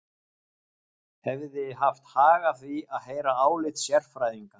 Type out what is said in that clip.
Hefði haft hag að því að heyra álit sérfræðinga.